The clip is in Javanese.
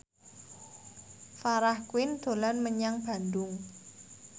Farah Quinn dolan menyang Bandung